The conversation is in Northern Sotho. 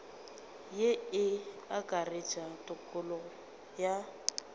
ye e akaretša tokologo ya